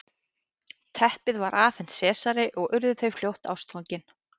teppið var afhent sesari og urðu þau fljótt ástfangin